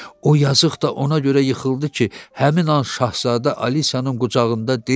O yazıq da ona görə yıxıldı ki, həmin an şahzadə Alisyanın qucağında deyildi.